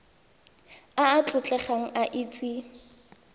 a a tlotlegang a itse